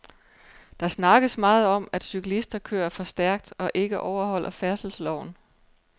Der snakkes meget om, at cyklister kører for stærkt og ikke overholder færdselsloven.